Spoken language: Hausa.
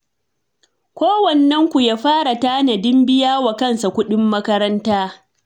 Kowannen ku ya fara tanadin biya wa kansa kuɗin makaranta.